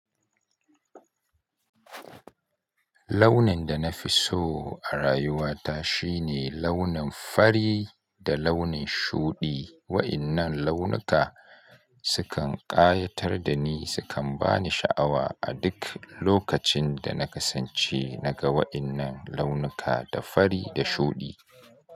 Launin da na fi so a rayuwata shine launin fari da launin shuɗi. Wa'innan launuka sukan ƙayatar da ni, sukan ba ni sha'awa a duk lokacin da na kasance na ga wa'innan launuka da fari da shuɗi.